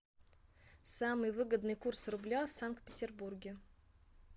самый выгодный курс рубля в санкт петербурге